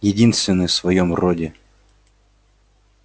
единственный в своём роде